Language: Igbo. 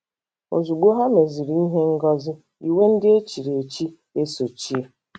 Ozugbo ha meziri ihe ngosi iwe ndị echiri echi esochie.